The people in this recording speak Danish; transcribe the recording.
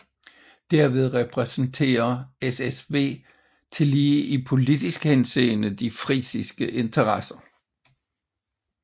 Derved repræsenterer SSW tillige i politisk henseende de frisiske interesser